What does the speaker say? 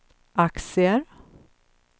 aktier